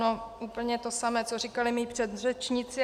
No úplně to samé, co říkali mí předřečníci.